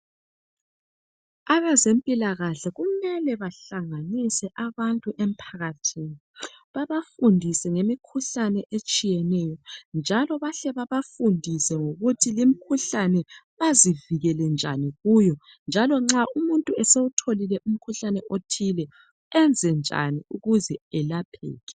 Abezempilakahle kumele bahlanganise abantu emphakathini babafundise ngemikhuhlane etshiyeneyo njalo bahle babafundise ngokuthi limkhuhlane bazivikele njani kuyo njalo nxa umuntu esewutholile umkhuhlane othile enze njani ukuze elapheke.